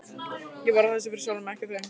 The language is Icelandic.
Ég var að þessu fyrir sjálfan mig, ekki þau.